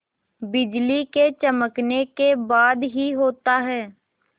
बिजली के चमकने के बाद ही होता है